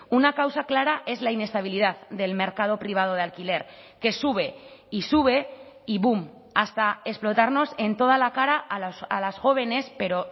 una causa clara es la inestabilidad del mercado privado de alquiler que sube y sube y boom hasta explotarnos en toda la cara a las jóvenes pero